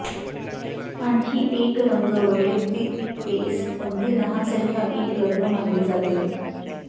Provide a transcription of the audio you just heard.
आणखी एक रंग वैयक्तिक केस अगदी लहान संख्या एक लग्न मानले जाते